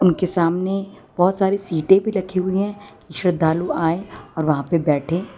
उनके सामने बहोत सारी सीटें भी रखी हुई हैं श्रद्धालु आएं और वहां पे बैठे।